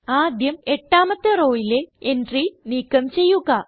ആദ്യം എട്ടാമത്തെ rowയിലെ എൻട്രി നീക്കം ചെയ്യുക